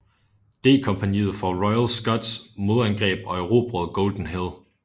D kompagniet fra Royal Scots modangreb og erobrede Golden Hill